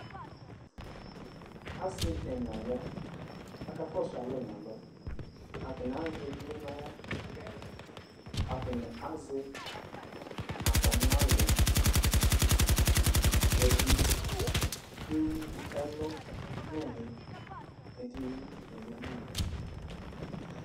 asini ɛnaya ɑkakɔsuale nɑlɔ ɑtani ɑze ivli nɑhla atani azɛ atamia hlɛ